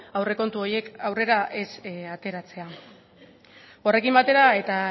aurrekontu horiek aurrera ez ateratzea horrekin batera eta